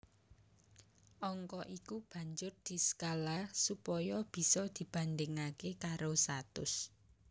Angka iku banjur diskala supaya bisa dibandhingaké karo satus